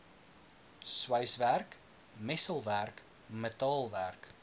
sweiswerk messelwerk metaalwerk